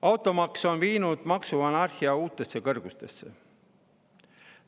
Automaks on viinud maksuanarhia uutesse kõrgustesse.